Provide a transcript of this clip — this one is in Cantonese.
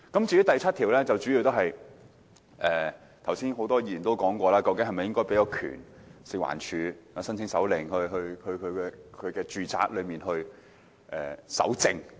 至於第7條，正如剛才多位議員問道，究竟應否賦權食物環境衞生署申請手令進入住宅搜證呢？